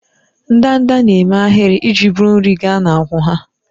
Ndanda na-eme ahịrị iji buru nri gaa n'akwụ́ ha.